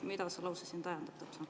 Mida see lause siin tähendab?